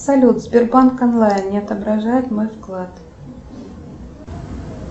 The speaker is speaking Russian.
салют сбербанк онлайн не отображает мой вклад